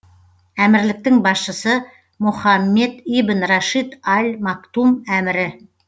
әмірліктің басшысы мохаммед ибн рашид аль мактум әмірі